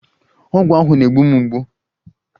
Ọgwụ ahụ na-egbu mgbu